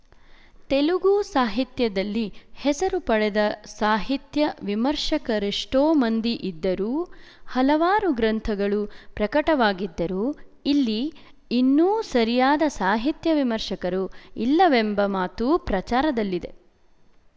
ತೆಲುಗು ಸಾಹಿತ್ಯದಲ್ಲಿ ಹೆಸರು ಪಡೆದ ಸಾಹಿತ್ಯ ವಿಮರ್ಶಕರೆಷ್ಟೋ ಮಂದಿ ಇದ್ದರೂ ಹಲವಾರು ಗ್ರಂಥಗಳು ಪ್ರಕಟವಾಗಿದ್ದರೂ ಇಲ್ಲಿ ಇನ್ನೂ ಸರಿಯಾದ ಸಾಹಿತ್ಯ ವಿಮರ್ಶಕರು ಇಲ್ಲವೆಂಬ ಮಾತೂ ಪ್ರಚಾರದಲ್ಲಿದೆ